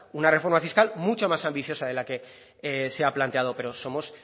una reforma fiscal mucho más ambiciosa de la que se ha planteado pero somos